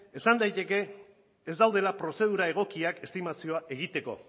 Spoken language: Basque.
esan daiteke ez daudela prozedura egokiak estimazioa egiteko